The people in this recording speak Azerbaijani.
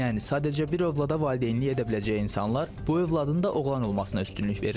Yəni sadəcə bir övlad valideynlik edə biləcəyi insanlar bu övladın da oğlan olmasına üstünlük verirlər.